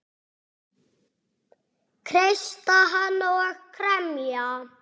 Kreista hana og kremja.